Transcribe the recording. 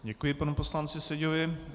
Děkuji panu poslanci Seďovi.